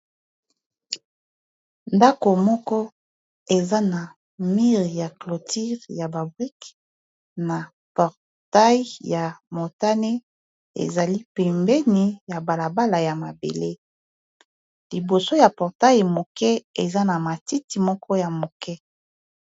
ndako moko eza na mire ya cloture ya babreke na portai ya motane ezali pimbeni ya balabala ya mabele liboso ya portail moke eza na matiti moko ya moke